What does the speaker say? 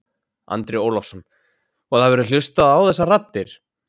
Andri Ólafsson: Og það verður hlustað á þessar raddir?